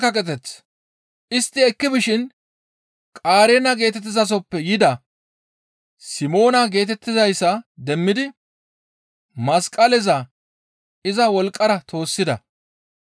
Istti ekki bishin Qareena geetettizasoppe yida Simoona geetettizayssa demmidi masqaleza iza wolqqara toossida.